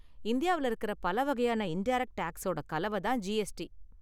இந்தியாவுல இருக்குற பல வகையான இன்டைரக்ட் டேக்ஸோட கலவ தான் ஜிஎஸ்டி.